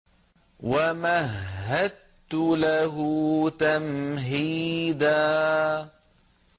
وَمَهَّدتُّ لَهُ تَمْهِيدًا